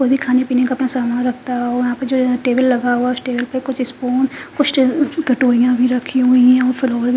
ओ भी खाने पीने का अपना सामान रखता है और वहां पे जो टेबल लगा हुआ कुछ स्पून कुछ टेबल पर कटोरिया भी रखी हुई है --